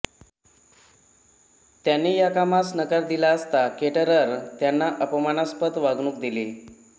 त्यांनी या कामास नकार दिला असता केटरर त्यांना अपमानास्पद वागणूक दिली